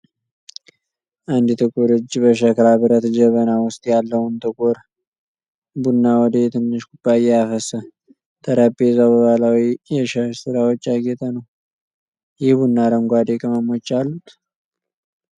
አንድ ጥቁር እጅ በሸክላ ብረት ጀበና ውስጥ ያለውን ጥቁር ቡና ወደ ትንሽ ኩባያ ያፈሳል። ጠረጴዛው በባህላዊ የሻሽ ስራዎች ያጌጠ ነው። ይህ ቡና አረንጓዴ ቅመሞች አሉት?